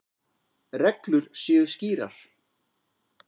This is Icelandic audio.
Reglur séu skýrar.